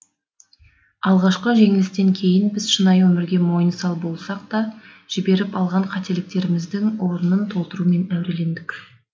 алғашқы жеңілістен кейін біз шынайы өмірге мойынсал болдық та жіберіп алған қателіктеріміздің орнын толтырумен әурелендік